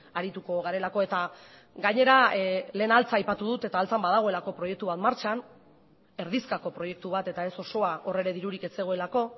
arituko garelako eta gainera lehen altza aipatu dut eta altzan badagoelako proiektu bat martxan erdizkako proiektu bat eta ez osoa hor ere dirurik ez zegoelako